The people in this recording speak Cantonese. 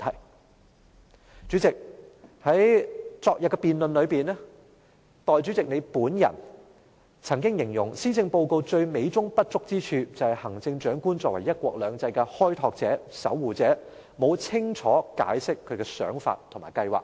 代理主席，在昨天的辯論上，代理主席你本人曾經形容施政報告最美中不足之處就是行政長官作為"一國兩制"的開拓者、守護者，沒有清楚解釋她的想法和計劃。